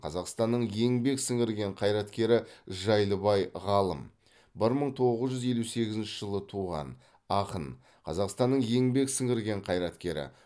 қазақстанның еңбек сіңірген қайраткері жайлыбай ғалым бір мың тоғыз жүз елу сегізінші жылы туған ақын қазақстанның еңбек сіңірген қайраткері